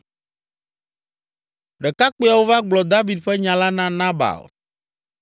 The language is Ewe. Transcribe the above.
Ɖekakpuiawo va gblɔ David ƒe nya la na Nabal.